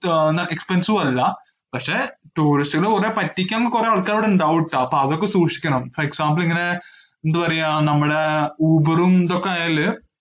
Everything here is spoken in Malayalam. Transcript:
expensive അല്ല പക്ഷെ tourist കളെ കൊറേ പറ്റിക്കാൻ കൊറേ ആൾക്കാര് ഇവിടെ ഇണ്ടാവുംട്ടാ, അപ്പൊ അതൊക്കെ സൂക്ഷിക്കണം, for example ഇങ്ങനെ ഏർ എന്താ പറയ്യാ നമ്മളെ ഊബറും ഇതൊക്കെ ആയാല്